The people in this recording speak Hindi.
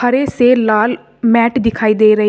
से लाल मैट दिखाई दे रही है।